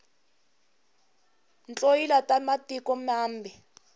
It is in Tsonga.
tloyila ta matiko mambe